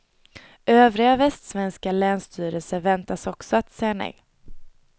Övriga västsvenska länsstyrelser väntas också säga nej.